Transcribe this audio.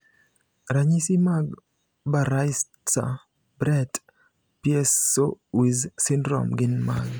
Ranyisi mag Baraitser Brett Piesowicz syndrome gin mage?